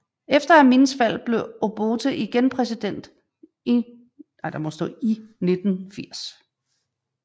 Efter Amins fald blev Obote igen præsident 1980